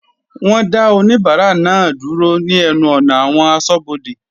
Wọ́n dá oníbárà náà dúró ní ẹnu ọ̀nà àwọn asọ́bodè.